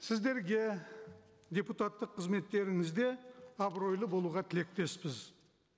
сіздерге депутаттық қызметтеріңізде абыройлы болуға тілектеспіз